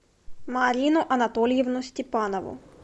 марину анатольевну степанову